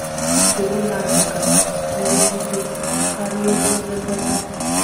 Nchegbu ha dị ka nrụgide karịa ezi nlekọta.